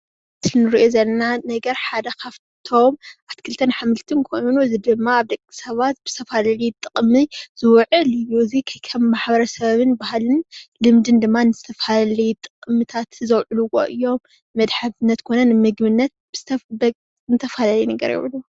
እቲ እንሪኦ ዘለና ነገር ሓደ ካብቶም ኣሕምልትን ኣትኽልትን እዩ። እዙዬ ድማ ኣብ ደቅሰበቴ ዝተፈላላየ ጥቅማ ዝውዕል እዩ። እዙይ ከም ማሕበረሰብን ልምድን ባህልን ንዝተፈላለየ ጥቅሚ ይውዕል።